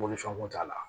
Mɔbili fɛn kun t'a la